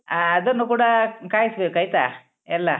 ಹ ಅದನ್ನು ಕೂಡಾ ಕಾಯ್ಸ್‌ಬೇಕು ಆಯ್ತಾ ಎಲ್ಲಾ.